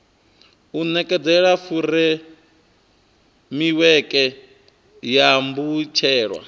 u nekedza furemiweke ya mbetshelwa